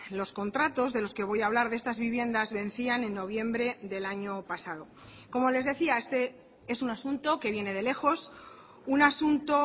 los contratos de los que voy a hablar de estas viviendas vencían en noviembre del año pasado como les decía este es un asunto que viene de lejos un asunto